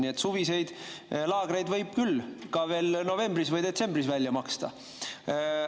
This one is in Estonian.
Nii et suviseid laagreid võib küll ka veel novembris või detsembris välja maksta.